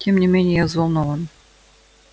тем не менее я взволнован